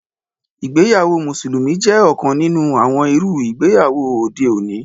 Ìgbéyàwó mùsùlùmí jẹ́ ọ̀kan nínú àwọn irú ìgbéyàwó òde òní